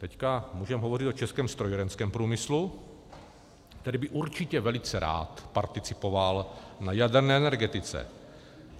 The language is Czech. Teď můžeme hovořit o českém strojírenském průmyslu, který by určitě velice rád participoval na jaderné energetice.